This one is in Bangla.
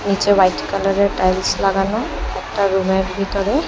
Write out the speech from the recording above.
নীচে হোয়াইট কালারের টাইলস লাগানো একটা রুমের ভিতরে।